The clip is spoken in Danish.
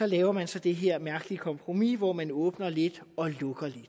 laver man så det her mærkelige kompromis hvor man åbner lidt og lukker lidt